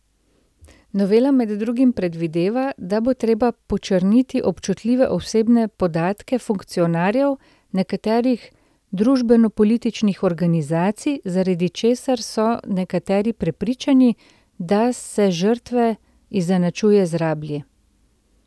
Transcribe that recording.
Novela med drugim predvideva, da bo treba počrniti občutljive osebne podatke funkcionarjev nekdanjih družbenopolitičnih organizacij, zaradi česar so nekateri prepričani, da se žrtve izenačuje z rablji.